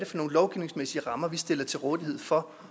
for nogle lovgivningsmæssige rammer vi stiller til rådighed for